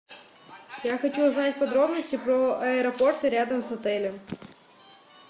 я хочу узнать подробности про аэропорты рядом с отелем